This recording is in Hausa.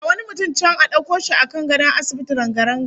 Ga wani mutum can a dauko shi a kan gadon asibiti ranga-ranga